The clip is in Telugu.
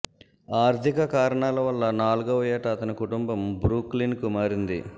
ఆర్థిక కారణాల వల్ల నాలుగవ ఏట అతని కుటుంబం బ్రూక్లిన్ కు మారింది